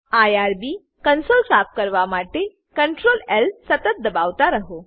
IRB console સાફ કરવા માટે CtrlL સતત દબાવતા રહો